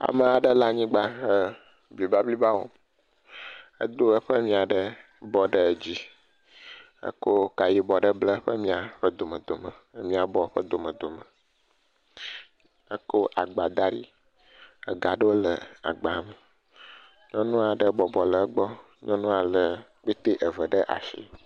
Amea ɖe le anyigba le bliba bliba wɔm, edo eƒe mia ɖe bɔ ɖe dzi, ekɔ ka ɖe bla eƒe mia ƒe dome dome, mia bɔ ƒe dome dome. Ekɔ agba da ɖi, ega ɖewo le agba me. Nyɔnu aɖe bɔbɔ ɖe egbɔ, nyɔnua lé kpete eve ɖe asi.